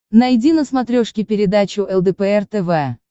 найди на смотрешке передачу лдпр тв